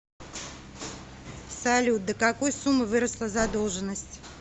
салют до какой суммы выросла задолженность